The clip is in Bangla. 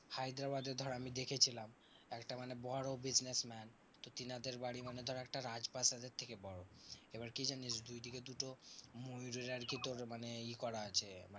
হায়দ্রাবাদে ধর আমি দেখেছিলাম, একটা মানে বড় businessman তো তেনাদের বাড়ি মানে ধর একটা রাজপ্রাসাদের থেকে বড়। এবার কি জানিস্? দুই দিকে দুটো ময়ূরের আরকি তোর মানে ই করা আছে